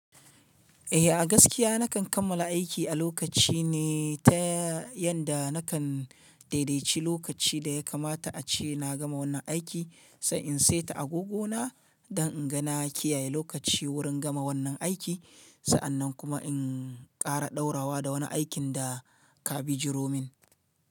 Eh a gaskiya nakan kammala aiki a lokaci ne ta yanda nakan daidaici lokaci da ya kamata ace na gama wannan aiki, sa in saita agogona don in ga na kiyaye lokaci wurin gama wannan aiki, sa'anan kuma in ƙara ɗaurawa da wani aikin da ka bi jiro min.